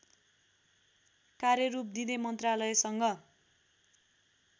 कार्यरूप दिँदै मन्त्रालयसँग